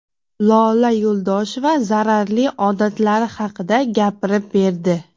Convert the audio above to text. Lola Yo‘ldosheva zararli odatlari haqida gapirib berdi.